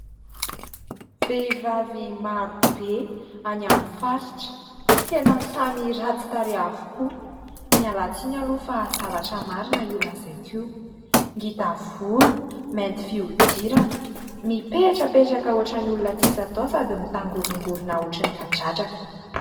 Vehivavy maro be any amin'ny faritra, tena samy ratsy tareha avokoa ! Miala tsiny aloha fa zavatra marina io lazaiko io. Ngita volo, mainty fiodirana, mipetrapetraka ohatran'ny olona tsisy atao sady mitangorongorina ohatran'ny kadradraka.